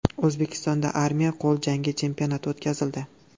O‘zbekistonda armiya qo‘l jangi chempionati o‘tkazildi.